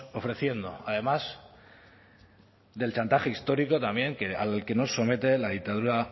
ofreciendo además del chantaje histórico también al que nos somete la dictadura